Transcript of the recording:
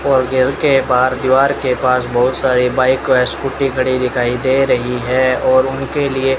और के बाहर दीवार के पास बहुत सारी बाइक व स्कूटी खड़ी दिखाई दे रही है और उनके लिए --